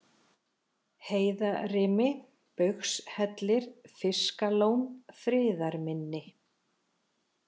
Heiðarimi, Baugshellir, Fiskalón, Friðarminni